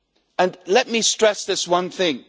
And let me stress this one thing.